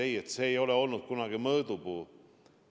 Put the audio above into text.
Ei, see ei ole kunagi mõõdupuu olnud.